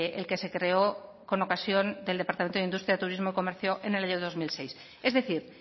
el que se creó con ocasión del departamento de industria turismo comercio en el año dos mil seis es decir